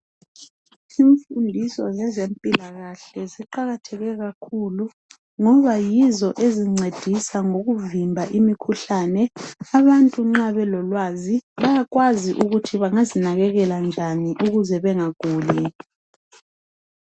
Imfundiso ngezempilakahle ziqakatheke kakhulu ngoba yizo ezincedisa ngokuvimba imikhuhlane. Abantu nxa belolwazi bayakwazi ukuthi bangazinakekela njani ukuze bengaguli.